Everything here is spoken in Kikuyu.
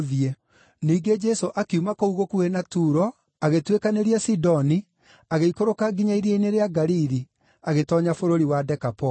Ningĩ Jesũ akiuma kũu gũkuhĩ na Turo agĩtuĩkanĩria Sidoni, agĩikũrũka nginya iria-inĩ rĩa Galili, agĩtoonya bũrũri wa Dekapoli.